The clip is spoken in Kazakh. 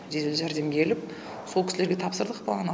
жедел жәрдем келіп сол кісілерге тапсырдық баланы